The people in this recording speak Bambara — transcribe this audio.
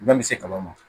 Ɲan bɛ se kaba ma